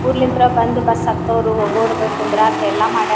ಊರ್ಳಿಂದ ಬಂದು ಬಸ್ಸು ಹತಥೋರು ಹೋಗೋರು ಕುಂದ್ರಕ್ಕ ಎಲ್ಲ ಮಾಡರ.